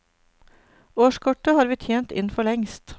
Årskortet har vi tjent inn forlengst.